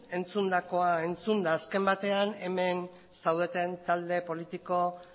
entzundakoa entzunda azken batean hemen zaudeten talde politiko